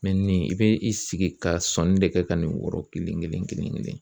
nin i bɛ i sigi ka sɔnni de kɛ ka n'o yɔrɔ kelen kelen kelen kelen kelen.